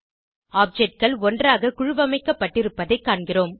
objectகள் ஒன்றாக குழுவமைப்பட்டிருப்பதைக் காண்கிறோம்